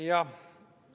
Jah.